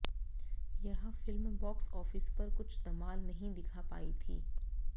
यह film box office पर कुछ धमाल नहीं दिखा पाई थी